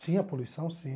Tinha poluição, sim.